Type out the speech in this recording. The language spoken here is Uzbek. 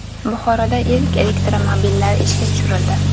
Buxoroda ilk elektromobillar ishga tushirildi.